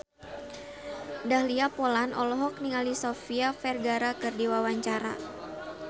Dahlia Poland olohok ningali Sofia Vergara keur diwawancara